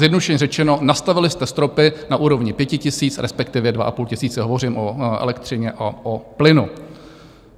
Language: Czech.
Zjednodušeně řečeno, nastavili jste stropy na úrovni 5 000, respektive 2 500 - hovořím o elektřině a o plynu.